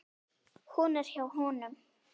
Hún er hjá honum.